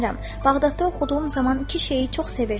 Bağdadda oxuduğum zaman iki şeiri çox sevirdim.